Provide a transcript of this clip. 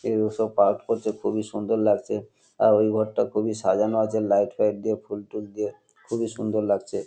কেউ ওইসব পাঠ করছে খুবই সুন্দর লাগছে আর ওই ঘরটা খুবই সাজানো আছে লাইট ফাইট দিয়ে ফুল টুল দিয়ে খুবই সুন্দর লাগছে।